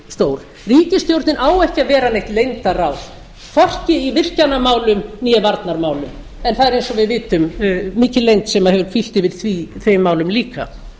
stól ríkisstjórnin á ekki að vera neitt leyndarráð hvorki í virkjanamálum né varnarmálum en það er eins og við vitum mikil leynd sem hefur hvílt yfir þeim málum líka